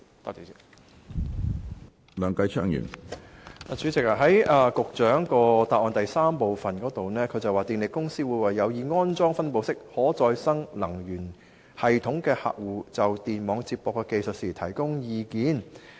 主席，局長的主體答覆第三部分說，電力公司會為有意安裝分布式可再生能源系統的客戶，就電網接駁的技術提供意見。